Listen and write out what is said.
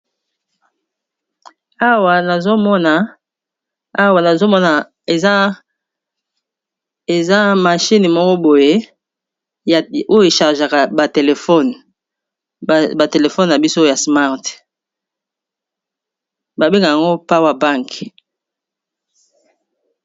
Awa nazomona eza mashine moko boye oyo eshargeaka ba telefone, batelefone na bisoyo ya smart babenga yango power bank.